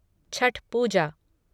Chhath Puja